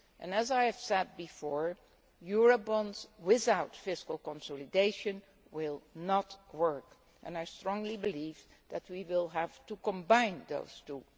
As I have said before, Eurobonds without fiscal consolidation will not work, and I strongly believe that we will have to combine those two.